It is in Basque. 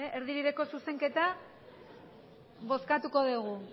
erdibideko zuzenketa bozkatuko dugu